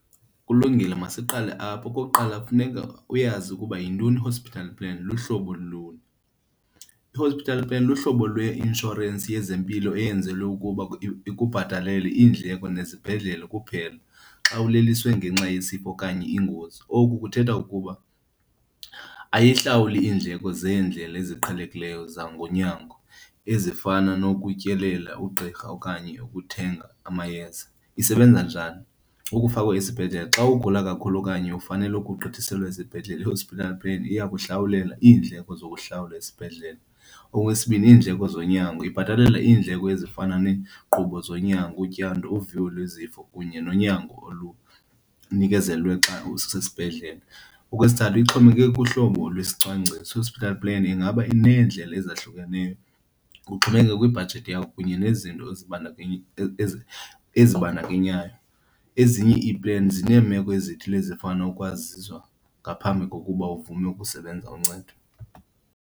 Kulungile, masiqale apho. Okokuqala, funeka uyazi ukuba yintoni i-hospital plan, luhlobo luni. I-hospital plan luhlobo lweinshorensi yezempilo eyenzelwe ukuba ikubhatalele iindleko nezibhedlele kuphela xa uleliswe ngenxa yesifo okanye ingozi. Oku kuthetha ukuba ayihlawuli iindleko zeendlela eziqhelekileyo zangonyango ezifana nokutyelela ugqirha okanye ukuthenga amayeza. Isebenza njani? Ukufakwa esibhedlele xa ugula kakhulu okanye ufanelwe ugqithiselwa esibhedlele, i-hospital plan iyakuhlawulela iindleko zokuhlawula esibhedlele. Okwesibini, iindleko zonyango. Ibhatalela iindleko ezifana neekqubo zonyango, utyando, uviwo lwezifo kunye nonyango olunikezelwe xa usesibhedlele. Okwesithathu, ixhomekeke kuhlobo lwesicwangciso. I-hospital plan ingaba ineendlela ezahlukeneyo kuxhomekeka kwibhajethi yakho kunye nezinto ezibandakanyayo, ezinye ii-plans zineemeko ezithile ezifana nokwaziswa ngaphambi kokuba uvume ukusebenza uncedo.